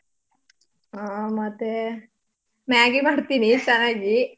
ಆ ಮತೇ maggi ಮಾಡ್ತೀನಿ ಚನ್ನಾಗಿ.